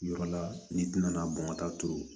Yɔrɔ la ni nana bɔn ka taa turu